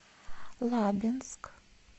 лабинск